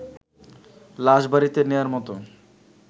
লাশ বাড়িতে নেয়ার মতো